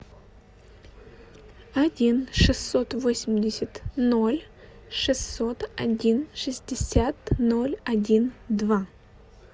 один шестьсот восемьдесят ноль шестьсот один шестьдесят ноль один два